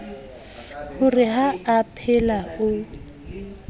ho re ha aphela o